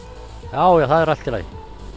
já já það er allt í lagi